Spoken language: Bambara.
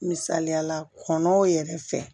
Misaliyala kɔnɔw yɛrɛ fɛ